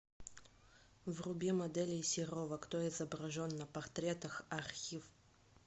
вруби моделей серова кто изображен на портретах архив